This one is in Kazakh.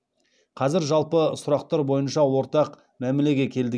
қазір жалпы сұрақтар бойынша ортақ мәмілеге келдік